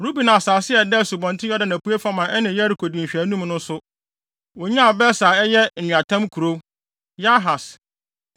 Ruben asase a ɛda Asubɔnten Yordan apuei fam a ɛne Yeriko di nhwɛanim no nso, wonyaa Beser a ɛyɛ nweatam kurow, Yahas,